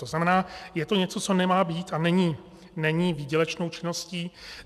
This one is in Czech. To znamená, je to něco, co nemá být a není výdělečnou činností.